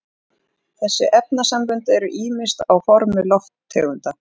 þessi efnasambönd eru ýmist á formi lofttegunda